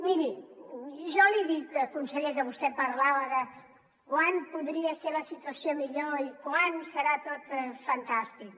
miri jo li dic conseller que vostè parlava de quan podria ser la situació millor i quan serà tot fantàstic